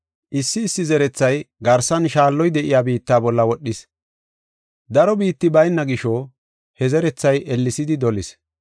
Issi issi zerethay garsan shaalloy de7iya biitta bolla wodhis. Daro biitti bayna gisho, he zerethay ellesidi dolis.